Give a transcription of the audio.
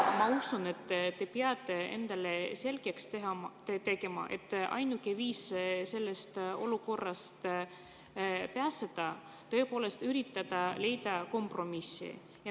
Ma usun, et te peate endale selgeks tegema, et ainuke viis sellest olukorrast pääseda on tõepoolest üritada leida kompromissi.